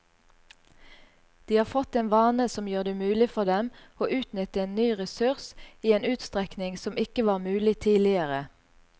De har fått en vane som gjør det mulig for dem å utnytte en ny ressurs i en utstrekning som ikke var mulig tidligere.